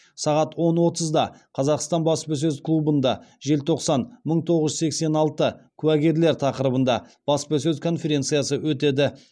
сағат он отызда қазақстан баспасөз клубында желтоқсан мың тоғыз жүз сексен алты куәгерлер тақырыбында баспасөз конференциясы өтеді